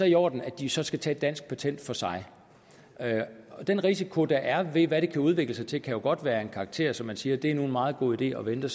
i orden at de så skal tage et dansk patent for sig den risiko der er ved hvad det kan udvikle sig til kan jo godt være af en karakter så man siger det er nu en meget god idé at vente